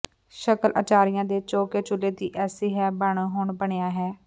ਸ਼ਕਲ ਅਚਾਰੀਆਂ ਦੇ ਚੌਕੇ ਚੁਲ੍ਹੇ ਦੀ ਐਸੀ ਹੈ ਜਾਣੋ ਹੁਣ ਬਨਿਆ ਹੈ